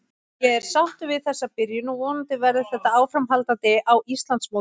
Ég er sáttur við þessa byrjun og vonandi verður þetta áframhaldandi á Íslandsmótinu.